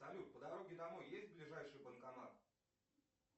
салют по дороге домой есть ближайший банкомат